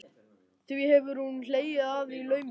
Því hefur hún hlegið að í laumi.